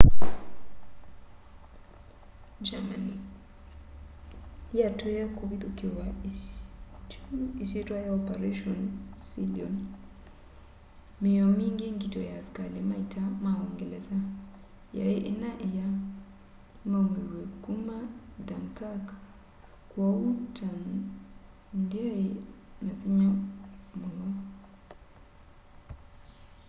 germany yatwie kũvithũkĩwa kyu isyitwa ya operation sealion”. míio mingi ngito ya asikali ma ita ma úúngelesa yai inaa ila maumiw'e kuma dunkirk kwoou ita ndyai na vinya muno